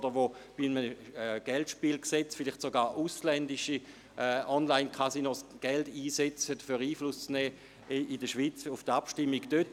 Beim Bundesgesetz über Geldspiele (Geldspielgesetz, BGS) haben sogar ausländische Online-Casinos Geld eingesetzt, um in der Schweiz auf eine Abstimmung Einfluss zu nehmen.